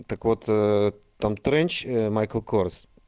так вот а-а там тренч майкал корс